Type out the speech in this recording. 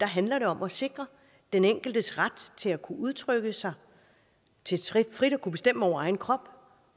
handler det om at sikre den enkeltes ret til at kunne udtrykke sig til frit at kunne bestemme over egen krop og